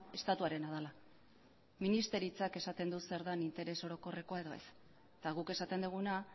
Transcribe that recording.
estatuarena dela ministerioak esaten du zer den interes orokorrekoa edo ez eta guk esaten duguna